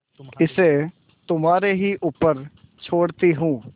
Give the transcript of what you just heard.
इसे तुम्हारे ही ऊपर छोड़ती हूँ